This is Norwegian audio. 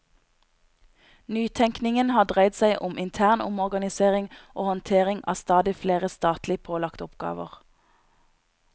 Nytenkningen har dreid seg om intern omorganisering og håndtering av stadig flere statlig pålagte oppgaver.